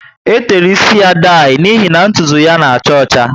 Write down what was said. E tere ísì ya daii, n'ihi na ntụtụ na acha ọcha ocha